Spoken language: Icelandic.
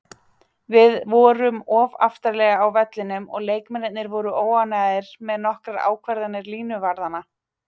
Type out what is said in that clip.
Við vorum of aftarlega á vellinum og leikmennirnir voru óánægðir með nokkrar ákvarðanir línuvarðanna.